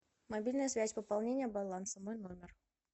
мобильная связь пополнение баланса мой номер